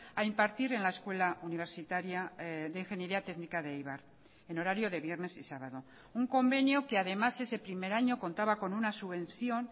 a impartir en la escuela universitaria de ingeniería técnica de eibar en horario de viernes y sábado un convenio que además ese primer año contaba con una subvención